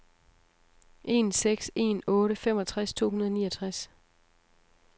en seks en otte femogtres to hundrede og niogtres